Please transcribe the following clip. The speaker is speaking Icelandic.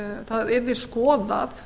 það verði skoðað